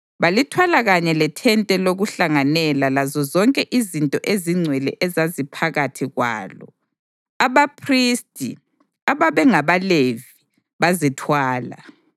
balithwala kanye lethente lokuhlanganela lazozonke izinto ezingcwele ezaziphakathi kwalo. Abaphristi, ababengabaLevi, bazithwala;